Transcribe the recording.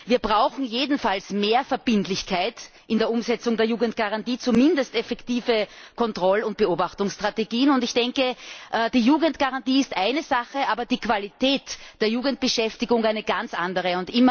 Wir brauchen jedenfalls mehr Verbindlichkeit in der Umsetzung der Jugendgarantie zumindest effektive Kontroll und Beobachtungsstrategien und ich denke, die Jugendgarantie ist eine Sache, aber die Qualität der Jugendbeschäftigung eine ganz andere.